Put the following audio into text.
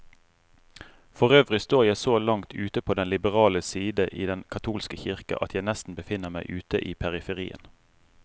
Forøvrig står jeg så langt ute på den liberale side i den katolske kirke, at jeg nesten befinner meg ute i periferien.